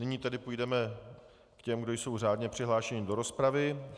Nyní tedy půjdeme k těm, kdo jsou řádně přihlášeni do rozpravy.